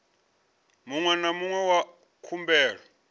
muṅwe na muṅwe wa khumbelo